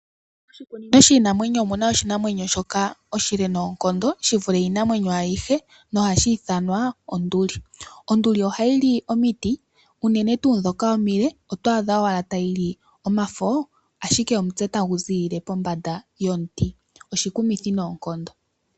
Moshikunino shiinamwenyo omu na oshinamwenyo shoka oshile noonkondo shi vule iinamwenyo ayihe nohashi ithanwa onduli. Onduli ohayi li omiti unene tuu ndhoka omile oto adha owala tayi li omafo, ashike omutse tagu ziilile pombanda yomiti. Oshikumithi noonkondo.